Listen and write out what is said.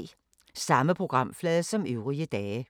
Samme programflade som øvrige dage